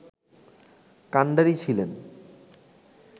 কান্ডারি ছিলেন